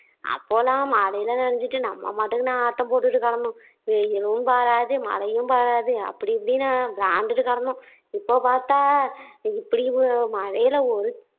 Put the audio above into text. அப்போ எல்லாம் மழையில நனைஞ்சுட்டு நம்ம பாட்டுக்கு ஆட்டம் போட்டுட்டு கிடந்தோம் வெயிலும் பாறாது மழையும் பாறாது அப்படிஇப்படின்னு விளையாண்டுட்டு கிடந்தோம் இப்போ பாத்தா இ இப்படியொரு மழையில ஒரு